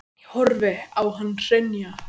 Ég horfði á hann hrynja.